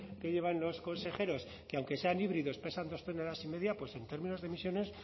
que llevan los consejeros que aunque sean híbridos pesan dos toneladas y media pues en términos de emisiones